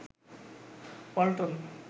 Walton